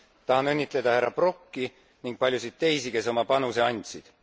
Tahan õnnitleda härra Brokki ning paljusid teisi, kes oma panuse andsid.